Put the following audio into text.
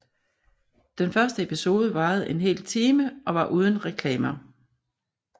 Den første episode varede en hel time og var uden reklamer